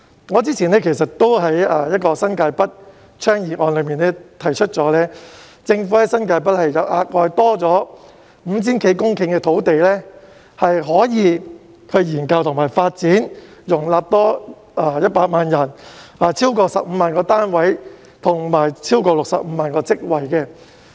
我之前曾在一項有關新界北的議案中提出，政府在新界北額外多了 5,000 多公頃土地可以進行研究及發展，該處可以容納多100萬人、興建超過15萬個單位及創造超過65萬個職位。